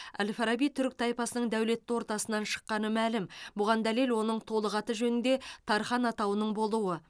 әл фараби түрік тайпасының дәулетті ортасынан шыққаны мәлім бұған дәлел оның толық аты жөнінде тархан атауының болуы